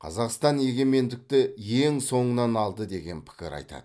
қазақстан егемендікті ең соңынан алды деген пікір айтады